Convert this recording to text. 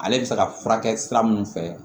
Ale bɛ se ka furakɛ sira minnu fɛ